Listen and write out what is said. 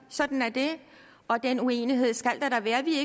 sådan er det og den uenighed skal der da være vi